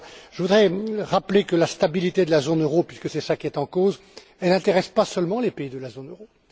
Je voudrais rappeler que la stabilité de la zone euro, puisque c'est cela qui est en cause, n'intéresse pas seulement les pays de la zone euro.